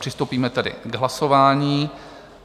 Přistoupíme tedy k hlasování.